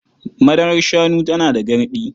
Madarar shanu tana da garɗi.